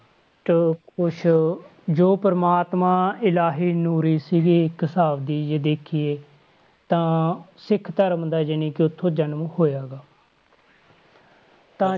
~ਟ ਕੁਛ ਜੋ ਪ੍ਰਮਾਤਮਾ ਇਲਾਹੀ ਨੂਰੀ ਸੀਗੀ ਇੱਕ ਹਿਸਾਬ ਦੀ ਜੇ ਦੇਖੀਏ, ਤਾਂ ਸਿੱਖ ਧਰਮ ਦਾ ਜਾਣੀਕਿ ਉੱਥੋਂ ਜਨਮ ਹੋਇਆ ਗਾ ਤਾਂ